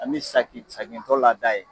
An bi saki sakintɔ lada ye.